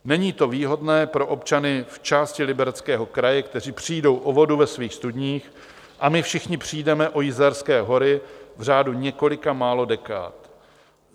Není to výhodné pro občany v části Libereckého kraje, kteří přijdou o vodu ve svých studních, a my všichni přijdeme o Jizerské hory v řádu několika málo dekád.